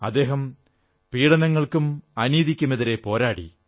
അദ്ദേഹം പീഡനങ്ങൾക്കും അനീതിക്കുമെതിരെ പോരാടി